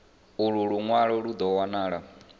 ulu lunwalo lu do wanala